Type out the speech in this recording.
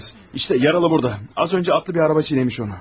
İşte yaralı burada, az öncə atlı bir araba çiğnəmiş onu.